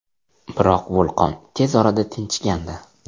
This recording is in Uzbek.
Biroq vulqon tez orada tinchigandi.